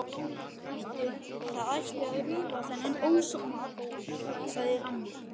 Það ætti að rífa þennan ósóma allan, sagði amma.